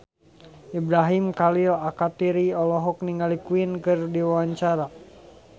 Ibrahim Khalil Alkatiri olohok ningali Queen keur diwawancara